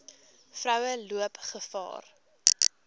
vroue loop gevaar